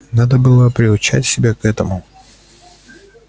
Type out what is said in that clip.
надо было приучать себя к этому